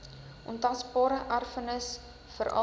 ontasbare erfenis veral